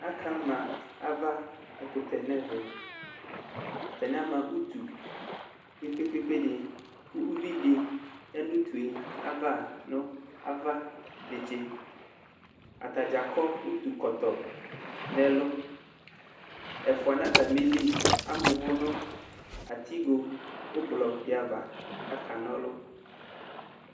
Aka ma avabɛkʋtɛ n'ɛvɛ : atanɩ amabutu kpekpekpekpe dɩ kʋ uvidɩ ya nʋ utue ava nʋ ava netse Atadza akɔ utukɔtɔ n'ɛlʋ , ɛfʋa n'atamili am'ʋvʋ nʋ atigo ʋblʋdɩ ava k'aka n'ɔlʋ